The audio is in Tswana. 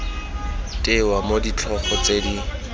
tewa mo ditlhogo tse di